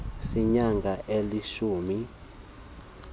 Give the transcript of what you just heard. seenyanga ezilishumi elinesibini